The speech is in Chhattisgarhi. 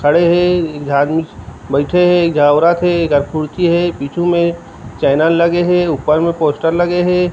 खड़े हे आदमी बइठे हे औरत हे पीछू में चैनल लगे हे ऊपर में पोस्टर लगे हे ।